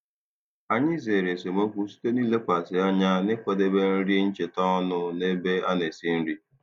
Anyị zere esemokwu site n'ilekwasị anya n'ịkwadebe nri ncheta ọnụ n'ebe a na-esi nri.